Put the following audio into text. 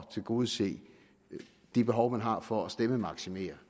tilgodese de behov man har for at stemmemaksimere det